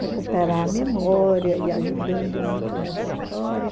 recuperar a memória e ajudando muito nessa história.